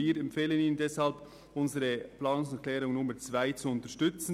Wir empfehlen Ihnen deshalb, unsere Planungserklärung mit der Nummer 2 zu unterstützen.